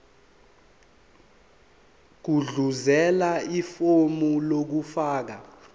gudluzela ifomu lokufaka